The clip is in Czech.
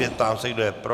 Ptám se, kdo je pro.